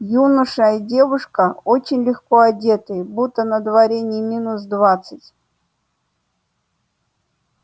юноша и девушка очень легко одетые будто на дворе не минус двадцать